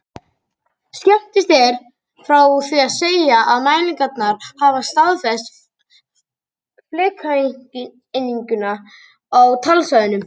Skemmst er frá því að segja að mælingarnar hafa staðfest flekakenninguna í talsverðum smáatriðum.